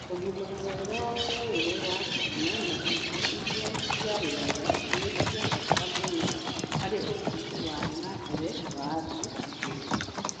Ũgima mwega wa mwĩrĩ wa ciana na irio iria ciarĩaga nĩ cia bata mũno harĩ ũthii wa na mbere wa andũ na bũrũri.